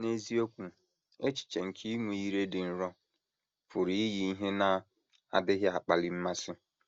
N’eziokwu, echiche nke inwe ‘ ire dị nro ’ pụrụ iyi ihe na - adịghị akpali mmasị.